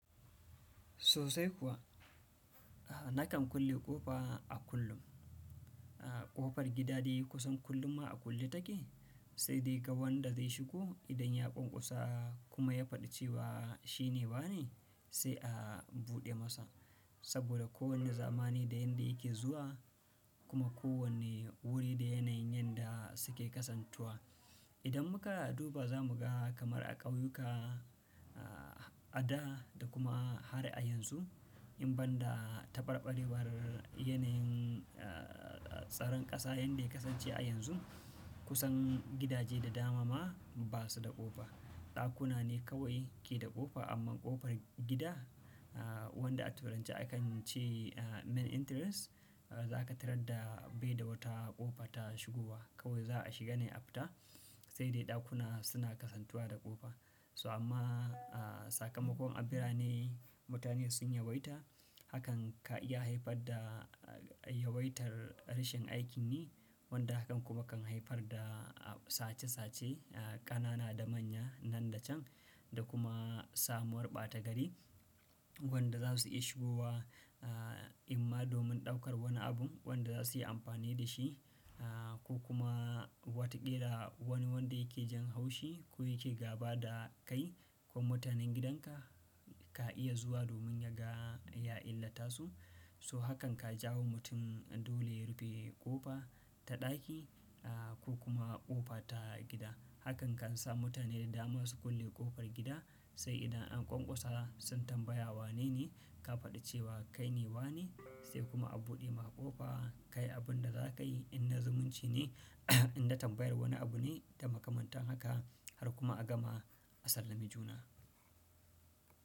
Sosai kuwa, nakan kulle ƙofa a kullum. Ƙofar gidade kusan kullum ma a kulle take, sai dai ga wanda zai shigo idan ya ƙwanƙwasa kuma ya faɗi cewa shine wane sai a buɗe masa. Saboda kowane zamani da yanda yake zuwa kuma kowane wuri da yanayin yanda suke kasantuwa. Idan muka duba za mu ga kamar a ƙauyuka, a da da kuma har a yanzu, in ban da tabarɓarewar yanayin tsaron ƙasa yanda ya kasance a yanzu, kusan gidaje da dama ma basu da ƙofa. Ɗakuna ne kawai ke da ƙofa amma ƙofar gida wanda a turanci akan ce main entrance zaka tarar da bai da wata ƙofa ta shigowa. Kawai za a shiga ne a fita sai dai ɗakuna suna kasantuwa da ƙofa. To amma sakamakon a birane mutane sun yawaita hakan ka iya haifar da yawaitar rashin aikin yi wanda hakan kuma kan haifar da sace sace, ƙanana da manya nan da can da kuma samuwar ɓata gari wanda za su iya shigowa. Amma domin ɗaukar wani abun wanda za su yi amfani da shi, ko kuma wataƙila wani wanda yake jan haushi ko yake gaba da kai ko mutanen gidanka ka iya zuwa domin ya ga ya illata su. So hakan ka jawo mutum dole ya rufe ƙofa ta ɗaki ko kuma ƙofa ta gida. Hakan kan sa mutane da dama su kulle ƙofar gida sai idan an ƙwanƙwasa sun tambaya wanene ka faɗi cewa kaine wane sai kuma a buɗe maka ƙofa. Kayi abun da za ka yi in na zumunci ne, in na tambayar wani abu ne da makamantan haka har kuma a gama a sallami juna.